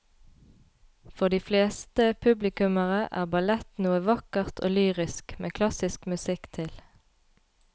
For de fleste publikummere er ballett noe vakkert og lyrisk med klassisk musikk til.